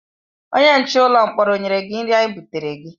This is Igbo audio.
Onye nche ụlọ mkpọrọ o nyere gị nri anyị butere gị?